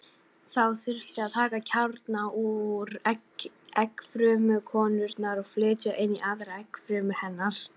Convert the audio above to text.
Þá þyrfti að taka kjarna úr eggfrumu konunnar og flytja inn í aðra eggfrumu hennar.